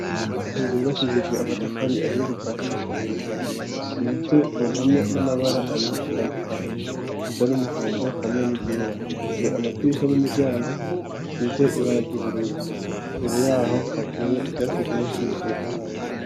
Inzu yubakishijwe amatafari ahiye kuva hasi gushika hejuru isize Ku mpome n'amabara abiri atandukanye, asa n'umuhondo hamwe n'iryera. Bifise amadirisha n'imiryango, bisize ibara ry'ubururu. Imbere y'aho, hateye ivyatsi vyinshi bitotahaye.